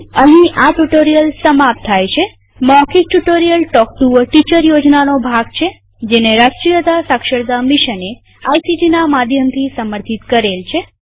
અહીં આ ટ્યુ્ટોરીઅલ સમાપ્ત થાય છેમૌખિક tutorial talk to a teacher યોજનાનો ભાગ છેજેને રાષ્ટ્રીય સાક્ષરતા મિશને આઇસીટી ના માધ્યમથી સમર્થિત કરેલ છે